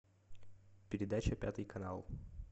передача пятый канал